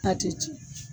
A tɛ tiɲɛ